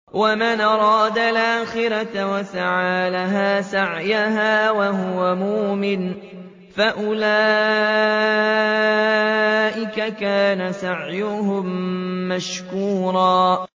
وَمَنْ أَرَادَ الْآخِرَةَ وَسَعَىٰ لَهَا سَعْيَهَا وَهُوَ مُؤْمِنٌ فَأُولَٰئِكَ كَانَ سَعْيُهُم مَّشْكُورًا